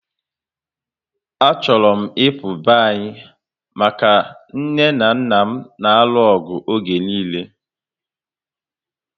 A chọrọ m ịpụ be anyị maka nne na nna m n'aru ọgụ oge niile